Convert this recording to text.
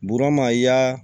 Burama i y'a